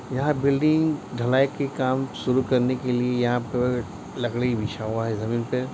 यहाँ बिल्डिंग ढलाई के काम शुरू करने के लिए यहाँ पर लकड़ी बिछा हुआ है जमीन पे।